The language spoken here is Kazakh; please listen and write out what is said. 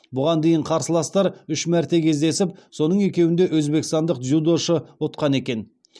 бұған дейін қарсыластар үш мәрте кездесіп соның екеуінде өзбекстандық дзюдошы ұтқан екен